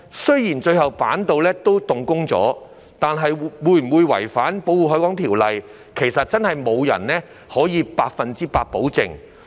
雖然板道最終仍能動工，但有關工程有否違反《條例》，其實無人能夠百分之一百保證。